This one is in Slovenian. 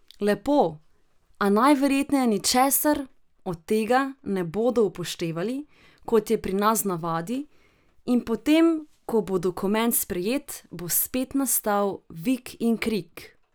Lepo, a najverjetneje ničesar od tega ne bodo upoštevali, kot je pri nas v navadi, in potem ko bo dokument sprejet, bo spet nastal vik in krik.